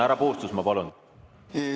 Härra Puustusmaa, palun!